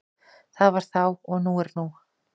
Það var þá og nú er nú.